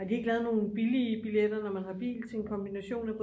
har du ikke lavet nogle billige billetter når man har bil til en kombination?